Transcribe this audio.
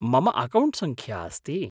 मम अकौण्ट्सङ्ख्या अस्ति।